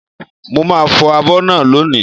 Mo màá fọ̀ abọ́ náà lónìí